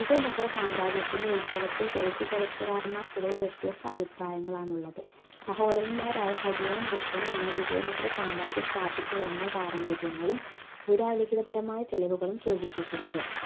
വിജയ നഗര സാമ്രാജ്യത്തിൻറെ ഉത്ഭവത്തെക്കുറിച്ച് ചരിത്രകാരൻമാർക്കിടയിൽ വ്യത്യസ്ത അഭിപ്രായങ്ങളാണുള്ളത് സഹോദരന്മാരായ ഹരിയനും ഭുക്കനുമാണ് വിജയ നഗര സാമ്രാജ്യം സ്ഥാപിച്ചത് എന്ന പാരമ്പര്യങ്ങളും പുരാലിഖിതപരമായ തെളിവുകളും സൂചിപ്പിക്കുന്നത്